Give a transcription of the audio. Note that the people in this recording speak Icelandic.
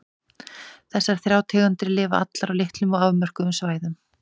Sama vandamál kemur upp þegar beita skal þessari málvenju til dæmis á Austurlandi hjá okkur.